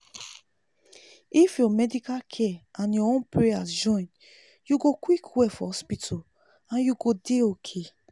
if ur medical care and ur own prayers join u go quick well for hospital and u go dey okay